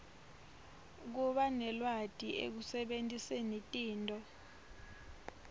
kubanelwati ekusebentiseni tinto